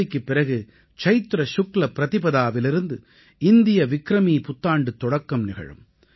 ஹோலிக்குப் பிறகு சைத்ர சுக்ல ப்ரதிபதாவிலிருந்து இந்திய விக்ரமீ புத்தாண்டுத் தொடக்கம் நிகழும்